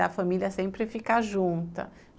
Da família sempre ficar junta.